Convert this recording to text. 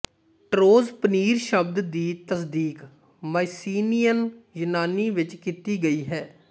ਟਰੋਜ਼ ਪਨੀਰ ਸ਼ਬਦ ਦੀ ਤਸਦੀਕ ਮਾਈਸੀਨੇਅਨ ਯੂਨਾਨੀ ਵਿੱਚ ਕੀਤੀ ਗਈ ਹੈ